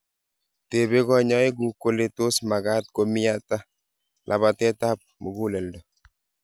Tebee konyoik guuk kole tos magaat komii ata labateet ap muguleldo.